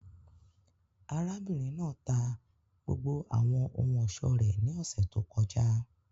Arabinrin naa ta gbogbo awọn ohun-ọṣọ rẹ ni ọsẹ to kọja.